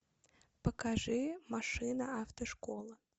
покажи машина автошкола